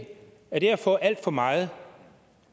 er det at få alt for meget